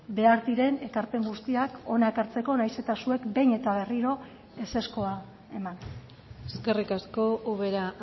behar diren ekarpen guztiak hona ekartzeko nahiz eta zuek behin eta berriro ezezkoa eman eskerrik asko ubera